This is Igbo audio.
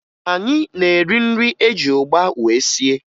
Anyị na-eri nri eji ụgba wee sie